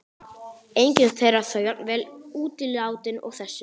Engin þeirra þó jafn vel útilátin og þessi.